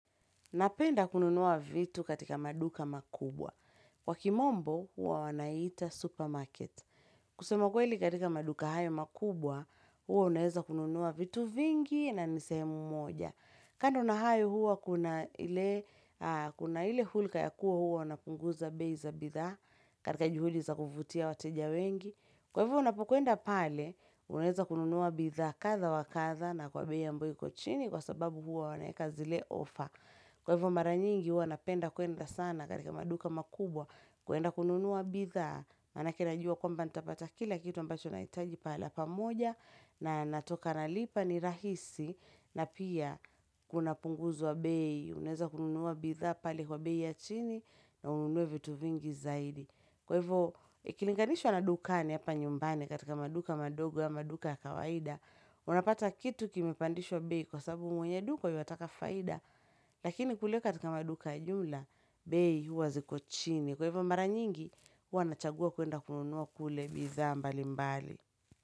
Napenda kununua vitu katika maduka makubwa. Kwa kimombo huwa wanaita supermarket. Kusema kweli katika maduka hayo makubwa, huwa unaweza kununua vitu vingi na ni sehemu moja. Kando na hayo huwa kuna ile hulka ya kuwa huwa wanapunguza bei za bidhaa katika juhudi za kuvutia wateja wengi. Kwa hivyo unapokwenda pale, unaweza kununua bidhaa kadha wa kadha na kwa bei ambayo iko chini kwa sababu huwa wanaweka zile ofa. Kwa hivyo mara nyingi huwa napenda kuenda sana katika maduka makubwa, kuenda kununua bidhaa, maanake najua kwamba nitapata kila kitu ambacho nahitaji pahali pamoja na natoka nalipa ni rahisi na pia kunapunguzwa bei, unaeza kununua bidhaa pale kwa bei ya chini na ununue vitu vingi zaidi. Kwa hivyo ikilinganishwa na dukani hapa nyumbani katika maduka madogo ama maduka ya kawaida Unapata kitu kimepandishwa bei kwa sababu mwenye duka yuataka faida Lakini kule katika maduka ajula bei huwa ziko chini Kwa hivyo mara nyingi huwa nachagua kuenda kununua kule bidhaa mbali mbali.